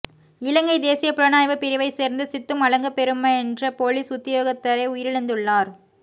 இலங்கை தேசிய புலனாய்வு பிரிவை சேர்ந்த சித்தும் அலகப்பெரும என்ற பொலிஸ் உத்தியோகத்தரே உயிரிழந்துள்ளார்